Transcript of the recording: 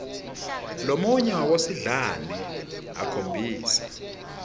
lomunye wabosidlani akhombisa